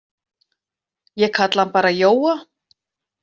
Ég kalla hann bara Jóa.